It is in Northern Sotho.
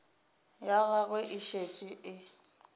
ya gagwe e šetše e